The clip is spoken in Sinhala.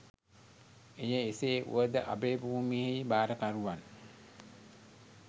එය එසේ වුවද අභයභූමියෙහි භාරකරුවන්